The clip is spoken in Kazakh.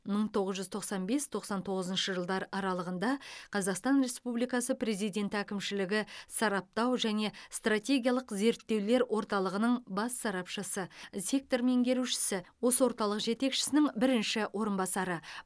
мың тоғыз жүз тоқсан бес тоқсан тоғызыншы жылдар аралығында қазақстан республикасы президенті әкімшілігі сараптау және стратегиялық зерттеулер орталығының бас сарапшысы сектор меңгерушісі осы орталық жетекшісінің бірінші орынбасары